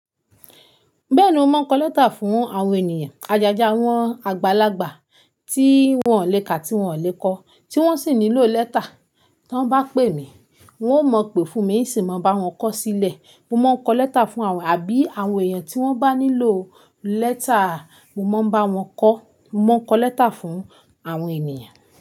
Bẹ́ẹ̀ni mo máa ń kọ lẹ́tà fún àwọn ènìyàn. Ajaja, àwọn àgbàlagbà tí wọ́n ò lè ka tí wọ́n ò lè kọ, tí wọ́n sì nílò lẹ́tà. Tí wọ́n bá pè mí, wọn ó mọ̀ pé fún mi sì máa bá wọn kọ sílẹ̀. Mo máa ń kọ lẹ́tà fún àwọn àbí àwọn èèyàn tí wọ́n bá nílò lẹ́tà, mo máa ń bá wọn kọ́. Mo máa ń kọ lẹ́tà fún àwọn ènìyàn.